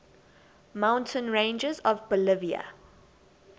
mountain ranges of bolivia